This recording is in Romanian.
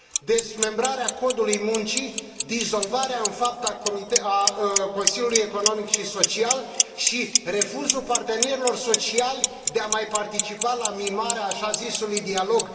dezmembrarea Codului Muncii, dizolvarea, în fapt, a Consiliului Economic și Social și refuzul partenerilor sociali de a mai participa la mimarea așa zisului dialog.